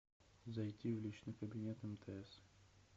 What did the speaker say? зайти в личный кабинет мтс